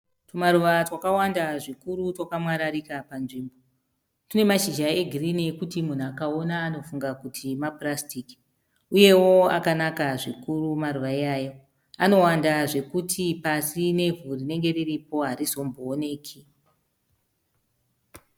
Tumaruva twakawamda zvikuru twakamwararika panzvimbo. Tunemashizha egirini ekuti munhu akaona anofunga kuti mapurasitiki. Uyewo akanaka zvikuru maruva iyayo. Anowanda zvekuti pasi nevhu rinenge riripo harizombooneki.